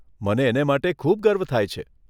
મને એને માટે ખૂબ ગર્વ થાય છે.